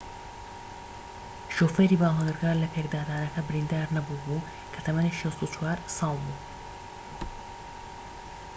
شوفێری بارهەڵگرەکە لە پێکدادانەکە بریندار نەبوو بوو کە تەمەنی 64 ساڵ بوو